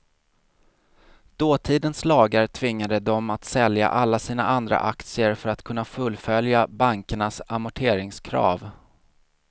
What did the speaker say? Dåtidens lagar tvingade dem att sälja alla sina andra aktier för att kunna fullfölja bankernas amorteringskrav.